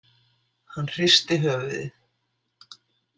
Hann hristi höfuðið.